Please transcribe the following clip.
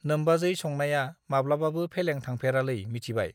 नोमबाजै संनाया माब्लाबाबो फेलें थांफेरालै मिथिबाय